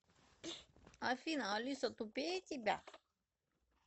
афина алиса тупее тебя